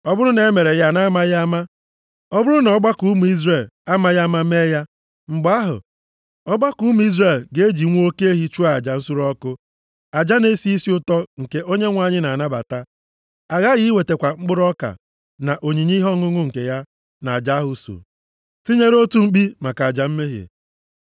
Ọ bụrụ na e mere ya na-amaghị ama, ọ bụrụ na ọgbakọ ụmụ Izrel amaghị ama mee ya, mgbe ahụ, ọgbakọ ụmụ Izrel ga-eji nwa oke ehi chụọ aja nsure ọkụ, aja na-esi isi ụtọ nke Onyenwe anyị na-anabata. Aghaghị iwetakwa mkpụrụ ọka, na onyinye ihe ọṅụṅụ nke ya na aja ahụ so, tinyere otu mkpi maka aja mmehie.